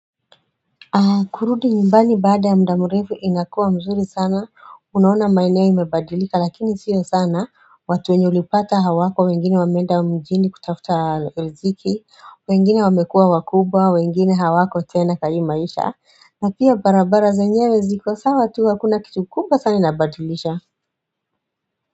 Kurudi njumbani baada ya mda mrefu inakua mzuri sana, unaona maeneo imebadilika lakini sio sana, watu wenye ulipata hawako, wengine wamenda mjiini kutafuta riziki, wengine wamekua wakubwa, wengine hawako tena katika maisha, na pia barabara zenyewe ziko, sawa tu hakuna kitu kubwa sana inabadilisha.